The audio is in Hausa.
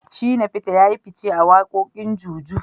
Shina feter yayi fice a wakokin Juju.